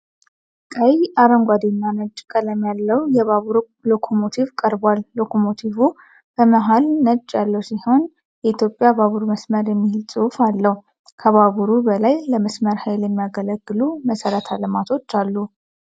ቀይ፣ አረንጓዴ እና ነጭ ቀለም ያለው የባቡር ሎኮሞቲቭ ቀርቧል፡፡ ሎኮሞቲቩ በመሀል ነጭ ቀለም ያለው ሲሆን "የኢትዮጵያ ባቡር መስመር" የሚል ጽሑፍ አለው፡፡ ከባቡሩ በላይ ለመስመር ኃይል የሚያገለግሉ መሰረተ ልማቶች አሉ፡፡